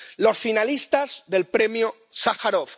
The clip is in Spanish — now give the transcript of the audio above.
los finalistas del Premio Sájarov.